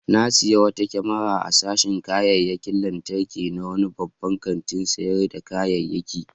Na sayi wata kyamara a sashin kayayyakin lantarki na wani babban kantin sayar da kayayyaki.